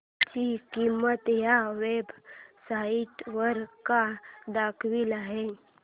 ची किंमत या वेब साइट वर काय दाखवली आहे